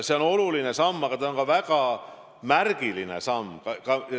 See on oluline samm, aga see on ka väga märgiline samm.